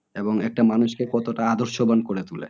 এবং একটা মানুষকে কতটা আদর্শবান করে তোলে।